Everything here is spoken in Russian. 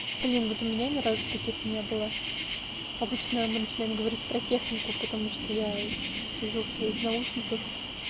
блин вот у меня ни разу таких не было обычно мы начинаем говорить про технику потому что я сижу в своих наушниках